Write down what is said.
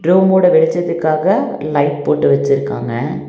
ரூமோட வெளிச்சத்துக்காக லைட் போட்டு வெச்சிருக்காங்க.